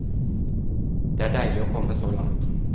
Det er deilig å komme så langt.